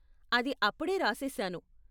అది అప్పుడే రాసేసాను.